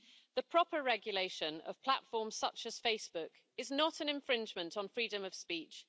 The proper regulation of platforms such as Facebook is not an infringement on freedom of speech.